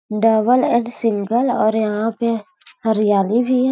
Double and single और यहां पे हरियाली भी है।